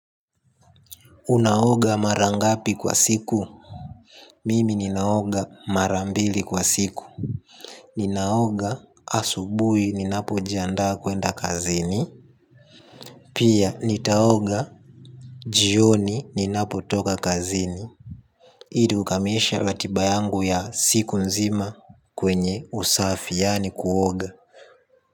Unaoga mara ngapi kwa siku. Mimi ninaoga mara mbili kwa siku. Ninaoga asubui ninapo jiandaa kwenda kazini. Pia nitaoga jioni ninapo toka kazini ili ukamishe ratiba yangu ya siku nzima kwenye usafi yaani kuoga.